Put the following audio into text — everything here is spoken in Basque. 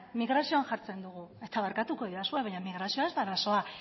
migrazioan jartzen dugu eta barkatuko didazue baina migrazioa ez da arazoa